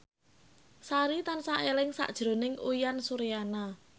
Sari tansah eling sakjroning Uyan Suryana